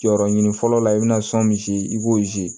Jɔyɔrɔ ɲini fɔlɔ la i be na sɔn misi i b'o